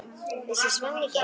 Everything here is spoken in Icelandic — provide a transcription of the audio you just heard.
Vissi Svenni ekki?